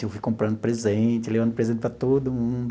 Eu fui comprando presentes, levando presentes para todo mundo.